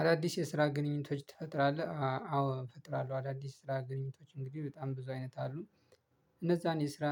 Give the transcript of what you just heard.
አዳዲስ የስራ ግንኙነቶች ትፈጥራለህ አዎ እፈጥራለሁ አዳዲስ ስራ ግንኙነቶች እንግዲህ በጣም ብዙ አይነት አሉ እነዛን የስራ